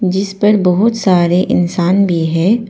जिस पर बहुत सारे इंसान भी है।